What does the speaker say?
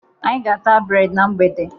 Anyị ga-ata breedi na mgbede